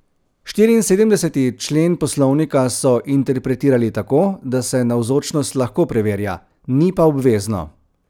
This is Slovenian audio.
Štiriinsedemdeseti člen poslovnika so interpretirali tako, da se navzočnost lahko preverja, ni pa obvezno.